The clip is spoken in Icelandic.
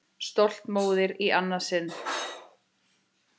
Stolt móðir í annað sinn.